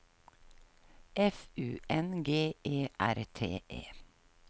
F U N G E R T E